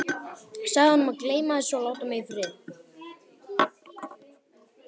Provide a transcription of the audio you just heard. Sagði honum að gleyma þessu og láta mig í friði.